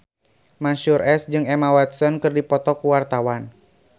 Mansyur S jeung Emma Watson keur dipoto ku wartawan